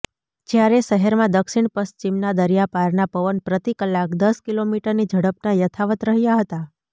જ્યારે શહેરમાં દક્ષિણ પિશ્ચિમના દરિયાપારના પવન પ્રતિ કલાક દસ કિલો મીટરની ઝડપના યથાવત રહ્યા હતા